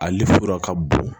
Ale sɔrɔ ka bon